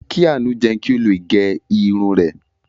Kí Àánú jẹun kí ó le gẹ irun rẹ̀.